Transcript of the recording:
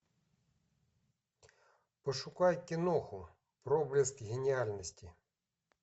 пошукай киноху проблеск гениальности